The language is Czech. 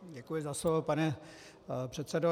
Děkuji za slovo, pane předsedo.